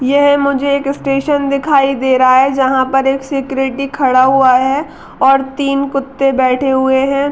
यह मुझे एक स्टेशन दिखाई दे रहा है जहाँ पर एक सिक्यूरिटी खड़ा हुआ है और तीन कुत्ते बैठे हुए हैं।